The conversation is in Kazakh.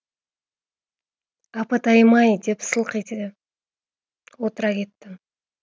апатайым ай деп сылқ ете отыра кеттім